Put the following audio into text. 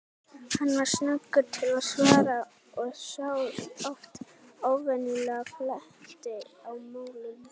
Hann var snöggur til svara og sá oft óvenjulega fleti á málum.